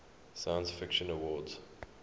science fiction awards